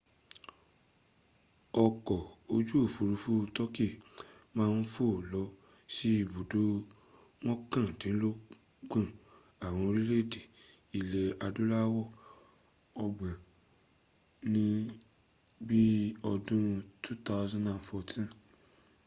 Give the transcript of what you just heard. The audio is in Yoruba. ọkọ̀ ojú òfúrufú turkey ma ń fò lọ sí ibùdó mọ́kàndínlọ́gbọ̀n àwọn orílẹ̀èdè ilẹ̀ adúláwọ̀ ọgbọ̀n ní bí i ọdún 2014